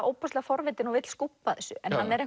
ofboðslega forvitinn og vill skúbba þessu en hann er